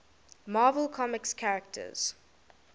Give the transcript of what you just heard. marvel comics characters